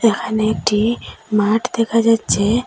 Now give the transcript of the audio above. এখানে একটি মাঠ দেখা যাচ্ছে।